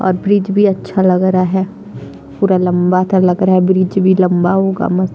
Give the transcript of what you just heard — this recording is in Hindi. और ब्रिज भी अच्छा लग रहा है पूरा लंबा सा लग रहा है ब्रिज भी लंबा होगा मस्त --